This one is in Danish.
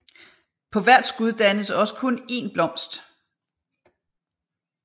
På hvert skud dannes også kun én blomst